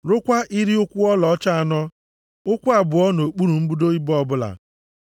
Rụkwaa iri ụkwụ ọlaọcha anọ, ụkwụ abụọ nʼokpuru mbudo ibo ọbụla.